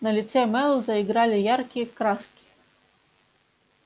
на лице мэллоу заиграли яркие краски